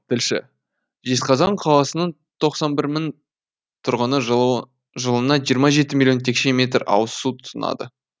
тілші жезқазған қаласының тоқсан бір мың тұрғыны жылына жиырма жеті миллион текше метр ауызсу тұтынады